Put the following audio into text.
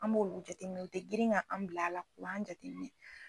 An b'olu jateminɛ , o tɛ girin ka an bila a la, an b'a jate minɛ